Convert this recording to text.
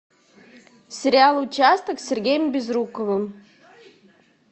сериал участок с сергеем безруковым